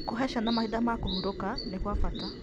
Gũcihe ciana mahinda ma kũhurũka nĩ gwa bata.